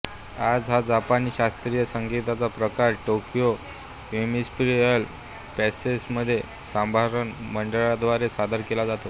आज हा जपानी शास्त्रीय संगीताचा प्रकार टोकियो इम्पीरियल पॅलेसमध्ये समारंभ मंडळाद्वारे सादर केला जातो